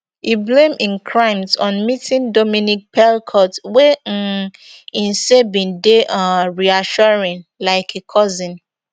e blame im crimes on meeting dominique pelicot wey um im say bin dey um reassuring like a cousin